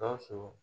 Gawusu